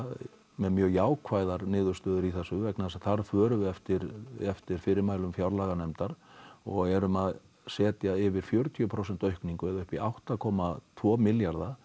með mjög jákvæðar niðurstöður í þessu vegna þess að þar förum við eftir eftir fyrirmælum fjárlaganefndar og erum að setja yfir fjörutíu prósent aukningu eða upp í átta komma tvo milljarða